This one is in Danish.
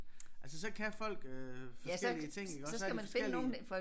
Altså så kan folk øh forskellige ting iggås så har vi forskellige